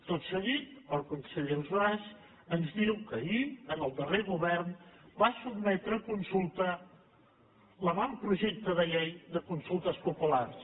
tot seguit el conseller ausàs ens diu que ahir en el darrer govern va sotmetre a consulta l’avantprojecte de llei de consultes populars